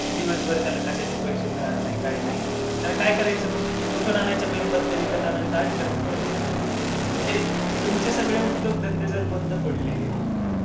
दिवसभर त्याला कशाचे पैसे मिळाले नाही काही नाही त्यानं काय करायचं मग? कुठून आणायचे मेणबत्त्या विकत आणायला आहेत का त्याच्याजवळ पैसे? म्हणजे तुमचे सगळे उद्योगधंदे जर बंद पडले,